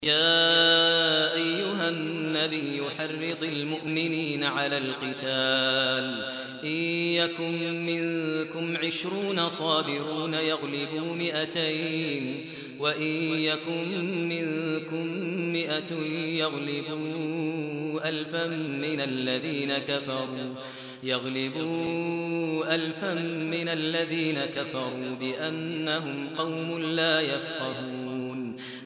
يَا أَيُّهَا النَّبِيُّ حَرِّضِ الْمُؤْمِنِينَ عَلَى الْقِتَالِ ۚ إِن يَكُن مِّنكُمْ عِشْرُونَ صَابِرُونَ يَغْلِبُوا مِائَتَيْنِ ۚ وَإِن يَكُن مِّنكُم مِّائَةٌ يَغْلِبُوا أَلْفًا مِّنَ الَّذِينَ كَفَرُوا بِأَنَّهُمْ قَوْمٌ لَّا يَفْقَهُونَ